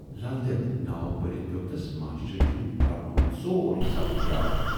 "لل دٮ۪د"ناو پٔرِتھ پٮ۪و تَس ماشٹر جی یُن پَرٕنوومُت سورُے سبَق یاد۔